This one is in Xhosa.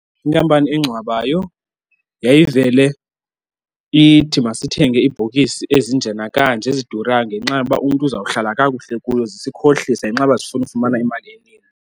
Inkampani engcwabayo yayivele ithi masithenge iibhokisi ezinje nakanje, ezidurayo, ngenxa yoba umntu uzawuhlala kakuhle kuyo zisikhohlisa ngenxa yoba zifuna ufumana imali.